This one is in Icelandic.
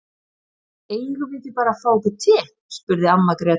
Eigum við ekki bara að fá okkur te, spurði amma Gréta.